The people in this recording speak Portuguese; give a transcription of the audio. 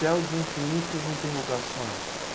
Céu de infinitas interrogações,